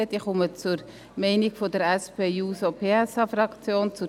Ich gebe die Meinung der SP-JUSO-PSA-Fraktion bekannt.